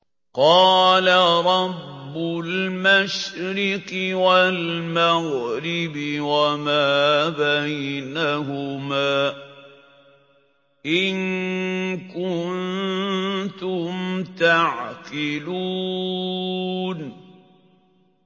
قَالَ رَبُّ الْمَشْرِقِ وَالْمَغْرِبِ وَمَا بَيْنَهُمَا ۖ إِن كُنتُمْ تَعْقِلُونَ